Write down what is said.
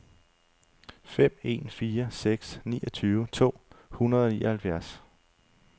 fem en fire seks niogtyve to hundrede og nioghalvfjerds